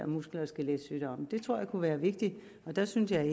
muskel og skeletsygdomme det tror jeg kunne være vigtigt og der synes jeg